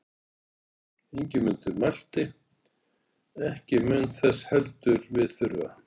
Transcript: Ingimundur mælti: Ekki mun þess heldur við þurfa.